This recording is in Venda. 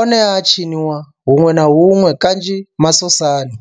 one a a tshiniwa hunwe na hunwe kanzhi masosani.